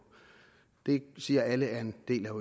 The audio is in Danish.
det siger alle er en del af